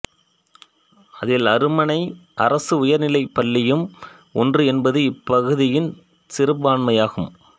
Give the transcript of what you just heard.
அதில் அருமனை அரசு உயர்நிலைப்ப்பள்ளியும் ஒன்று என்பது இப்பகுதியின் சிறப்பான்மையாகும்